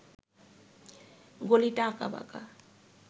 গলিটা আঁকাবাঁকা